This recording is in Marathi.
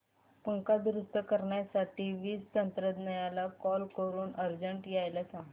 पंखा दुरुस्त करण्यासाठी वीज तंत्रज्ञला कॉल करून अर्जंट यायला सांग